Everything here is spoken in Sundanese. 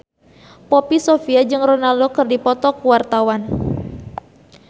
Poppy Sovia jeung Ronaldo keur dipoto ku wartawan